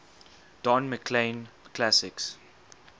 don mclean classics